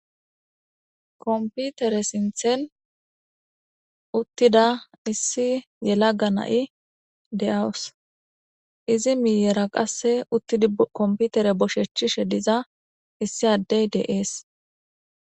Konpitere sinththen uttida issi yelaga na'i de'awus. Izi miyyera qassi uttidi kompiteere bosheththiza diza issi addey de'es.